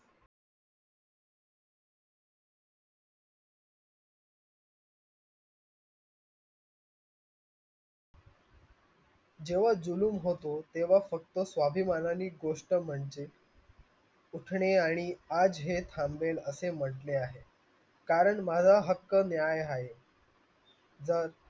जोवर होतो तेव्हा फक्त स्वाभिमानाने गोष्ट म्हणजे दुखणे आणि आजचे खांबेल असे लढणे आहे कारण माझा हक्क मिळाया आहे